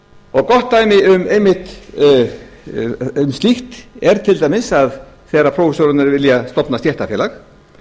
að greiða hana og gott dæmi um einmitt slíkt er til dæmis að þegar prófessorarnir vilja stofna stéttarfélag